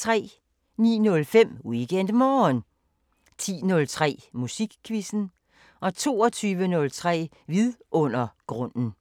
09:05: WeekendMorgen 10:03: Musikquizzen 22:03: Vidundergrunden